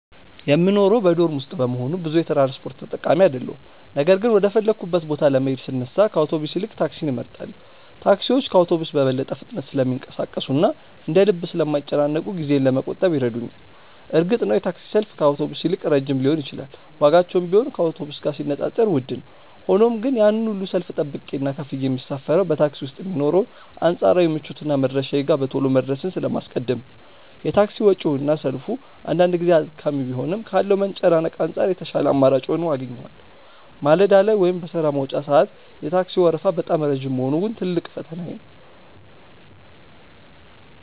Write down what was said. የምኖረው በዶርም ውስጥ በመሆኑ ብዙ የትራንስፖርት ተጠቃሚ አይደለሁም ነገር ግን ወደ ፈለግኩበት ቦታ ለመሄድ ስነሳ ከአውቶቡስ ይልቅ ታክሲን እመርጣለሁ። ታክሲዎች ከአውቶቡስ በበለጠ ፍጥነት ስለሚንቀሳቀሱና እንደ ልብ ስለማይጨናነቁ ጊዜዬን ለመቆጠብ ይረዱኛል። እርግጥ ነው የታክሲ ሰልፍ ከአውቶቡስ ይልቅ ረጅም ሊሆን ይችላል ዋጋቸውም ቢሆን ከአውቶቡስ ጋር ሲነጻጸር ውድ ነው። ሆኖም ግን ያንን ሁሉ ሰልፍ ጠብቄና ከፍዬ የምሳፈረው በታክሲ ውስጥ የሚኖረውን አንጻራዊ ምቾትና መድረሻዬ ጋር በቶሎ መድረስን ስለማስቀድም ነው። የታክሲ ወጪውና ሰልፉ አንዳንድ ጊዜ አድካሚ ቢሆንም ካለው መጨናነቅ አንጻር የተሻለ አማራጭ ሆኖ አገኘዋለሁ። ማለዳ ላይ ወይም በሥራ መውጫ ሰዓት የታክሲው ወረፋ በጣም ረጅም መሆኑ ግን ትልቁ ፈተናዬ ነው።